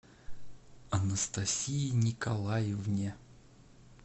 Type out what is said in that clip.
анастасии николаевне